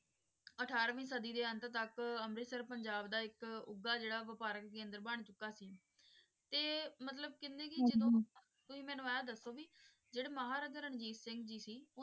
ਅਠਾਰਵੀਂ ਸਾਡੀ ਦੇ ਅੰਤ ਤਕ ਅੰਮ੍ਰਿਤਸਰ ਪੰਜਾਬ ਦਾ ਏਇਕ ਉਗਾ ਜੇਰਾ ਵਪਾਰਿਕ ਕੇਂਦਰ ਬਣ ਚੁਕਾ ਸੀ ਤੇ ਮਤਲਬ ਕੀਨੀ ਕੀ ਜਦੋਂ ਹਾਂਜੀ ਤੁਸੀਂ ਮੇਨੂ ਆਏੰ ਦਸੋ ਭਾਈ ਜੇਰੇ ਮਹਾਰਾਜਾ ਰਣਵੀਰ ਸਿੰਘ ਜੀ ਸੀ